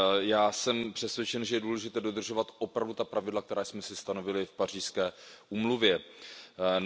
Já jsem přesvědčen, že je důležité dodržovat opravdu ta pravidla, která jsme si stanovili v Pařížské dohodě.